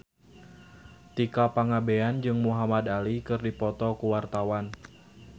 Tika Pangabean jeung Muhamad Ali keur dipoto ku wartawan